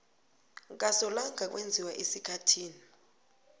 kasolanga kwenziwa esikhathini